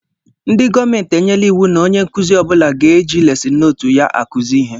Ndị gọọmenti enyela iwu na onye nkụzi ọbula ga éjị lesin nootu ya akuzi ihe.